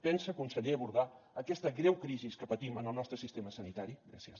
pensa conseller abordar aquesta greu crisi que patim en el nostre sistema sanitari gràcies